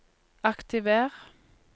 aktiver